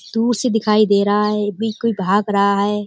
दूर से दिखाई दे रहा है अभी कोई भाग रहा है।